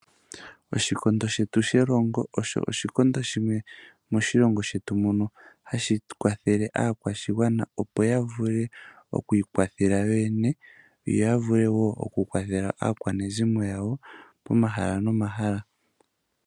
Oshikondo shetu shelongo osho oshikondo shimwe moshilongo shetu mono hashi kwathele aakwashigwana, opo ya vule oku ikwathela yoyene yo yavule wo oku kwathela aakwanezimo yawo poma hala nomahala.